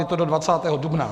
Je to do 20. dubna.